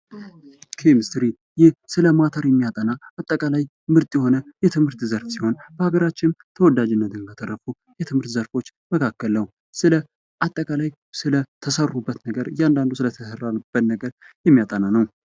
ኬሚስትሪ ይህ ስለ ማተር የሚያጠና አጠቃላይ ምርጥ የሆነ የትምህርት ዘርፍ ሲሆን በሀገራችን ተወዳጅነትን ካተረፉ የትምህርት ዘርፎች መካከል ነው። ስለ አጠቃላይ ስለ ተሰሩበት ነገር እያንዳንዱ ስለተሰራበት ነገር የሚያጠና ነው።